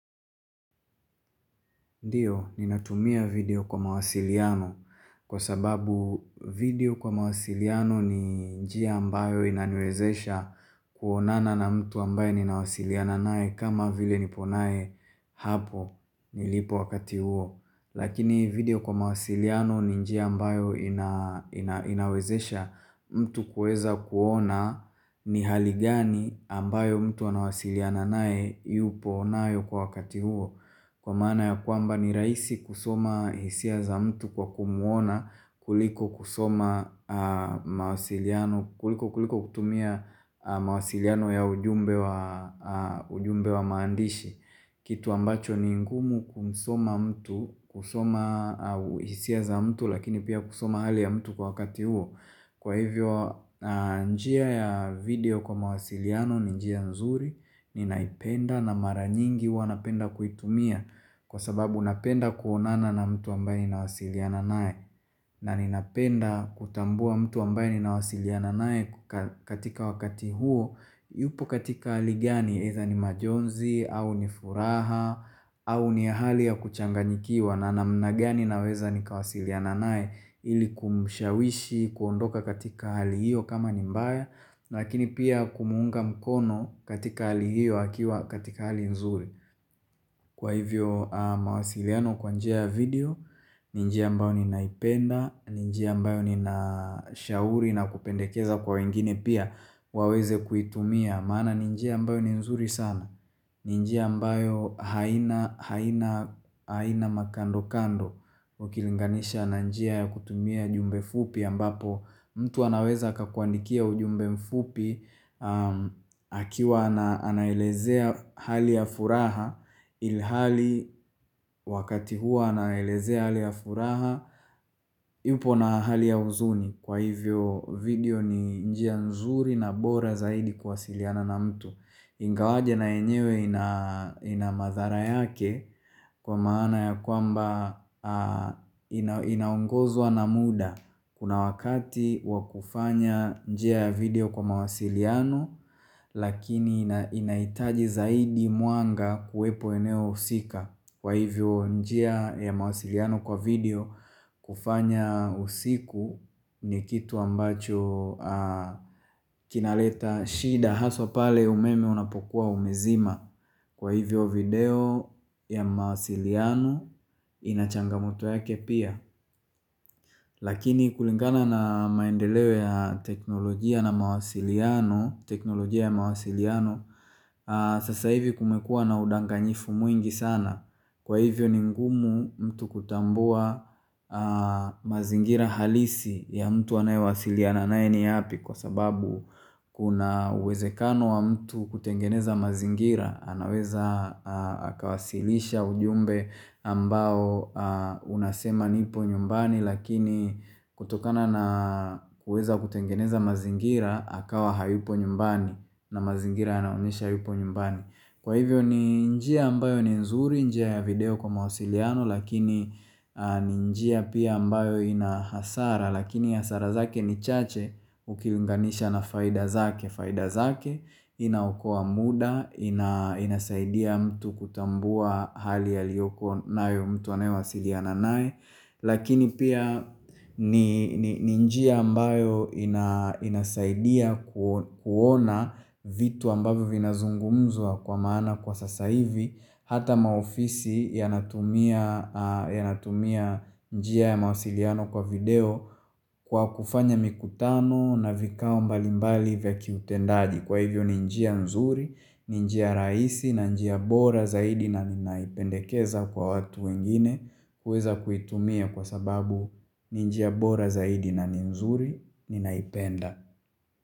Ndiyo, ninatumia video kwa mawasiliano kwa sababu video kwa mawasiliano ni njia ambayo inaniwezesha kuonana na mtu ambayo ninawasiliana nae kama vile niponae hapo nilipo wakati huo. Lakini video kwa mawasiliano ni njia ambayo inawezesha mtu kuweza kuona ni hali gani ambayo mtu anawasiliana nae yupo nayo kwa wakati huo. Kwa maana ya kwamba ni rahisi kusoma hisia za mtu kwa kumwona kuliko kutumia mawasiliano ya ujumbe wa maandishi Kitu ambacho ni ngumu kusoma mtu kusoma hisia za mtu lakini pia kusoma hali ya mtu kwa wakati huo Kwa hivyo njia ya video kwa mawasiliano ni njia nzuri ninaipenda na mara nyingi huwa napenda kuitumia kwa sababu napenda kuonana na mtu ambaye ninawasiliana nae na ninapenda kutambua mtu ambaye ni nawasiliana nae katika wakati huo yupo katika hali gani, eidha ni majonzi, au ni furaha, au ni hali ya kuchanganyikiwa na namna gani naweza nikawasiliana nae ili kumushawishi, kuondoka katika hali hiyo kama ni mbaya, lakini pia kumuunga mkono katika hali hiyo akiwa katika hali nzuri. Kwa hivyo mawasiliano kwa njia ya video, njia ambayo ninaipenda, njia ambayo nina shauri na kupendekeza kwa wengine pia waweze kuitumia maana ni njia ambayo ni nzuri sana, njia ambayo haina makando kando ukilinganisha na njia ya kutumia jumbe fupi ambapo mtu anaweza akakuandikia ujumbe mfupi akiwa anaelezea hali ya furaha ilhali wakati huo anaelezea hali ya furaha yupo na hali ya uzuni kwa hivyo video ni njia nzuri na bora zaidi kuwasiliana na mtu Ingawaje na yenyewe ina madhara yake kwa maana ya kwamba inaungozwa na muda Kuna wakati wakufanya njia ya video kwa mawasiliano lakini inaitaji zaidi mwanga kuwepo eneo husika Kwa hivyo njia ya mawasiliano kwa video kufanya usiku ni kitu ambacho kinaleta shida haswa pale umeme unapokuwa umezima Kwa hivyo video ya mawasiliano ina changamoto yake pia Lakini kulingana na maendeleo ya teknolojia na mawasiliano teknolojia ya mawasiliano Sasa hivi kumekua na udanganyifu mwingi sana Kwa hivyo ni ngumu mtu kutambua mazingira halisi ya mtu anayowasiliana nae ni yapi kwa sababu kuna uwezekano wa mtu kutengeneza mazingira, anaweza akawasilisha ujumbe ambao unasema nipo nyumbani lakini kutokana na kuweza kutengeneza mazingira, akawa hayupo nyumbani na mazingira yanaonyesha hayupo nyumbani. Kwa hivyo ni njia ambayo ni nzuri, njia ya video kwa mawasiliano lakini ni njia pia ambayo ina hasara lakini hasara zake ni chache ukiunganisha na faida zake, faida zake inaokoa muda, inasaidia mtu kutambua hali aliyoko nayo mtu anaye wasiliana naye. Lakini pia ni njia ambayo inasaidia kuona vitu ambayo vina zungumzwa kwa maana kwa sasa hivi Hata maofisi yanatumia njia ya mawasiliano kwa video kwa kufanya mikutano na vikao mbalimbali vya kiutendaji Kwa hivyo ni njia nzuri, ni njia rahisi na njia bora zaidi na ninaipendekeza kwa watu wengine kuweza kuitumia kwa sababu ni njia bora zaidi na ni nzuri ninaipenda.